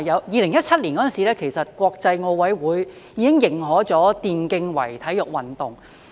2017年的時候，國際奧林匹克委員會已經認可電競為體育運動。